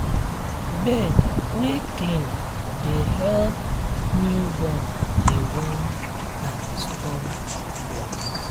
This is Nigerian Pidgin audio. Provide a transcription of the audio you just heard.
bed wer clean dey help newborn dey warm and strong body.